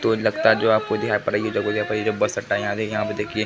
तो लगता जो है आपको जो यहाँ पड़ है। जो बस अड्डा है। यहाँ देख यहाँ पे देखिये --